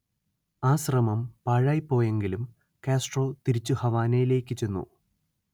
ആ ശ്രമം പാഴായിപോയെങ്കിലും കാസ്ട്രോ തിരിച്ചു ഹവാനയിലേക്കു ചെന്നു